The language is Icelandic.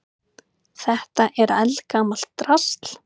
Þetta er eldgamalt drasl.